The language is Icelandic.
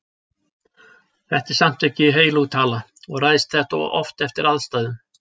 Þetta er samt ekki heilög tala og ræðst þetta oft eftir aðstæðum.